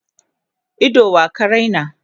Ido wa ka Raina?